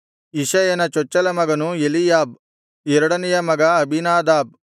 ಇಷಯನ ಚೊಚ್ಚಲ ಮಗನು ಎಲೀಯಾಬ್ ಎರಡನೆಯ ಮಗ ಅಬೀನಾದಾಬ್